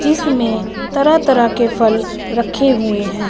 जिसमें तरह तरह के फल रखे हुए हैं।